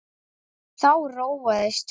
Þá róaðist hún.